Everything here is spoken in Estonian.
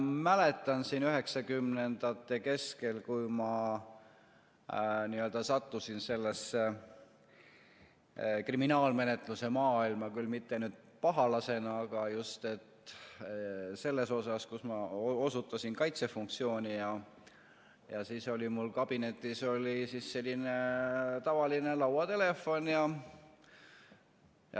Mäletan siin 1990ndate keskel, kui ma sattusin sellesse kriminaalmenetluse maailma, küll mitte pahalasena, aga just selles osas, kus ma osutasin kaitsefunktsiooni, ja siis oli mul kabinetis selline tavaline lauatelefon.